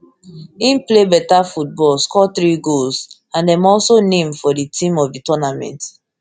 im play beta football score three goals and dem also name for di team of di tournament